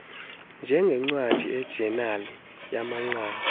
njengncwadi ijenali yamanqaku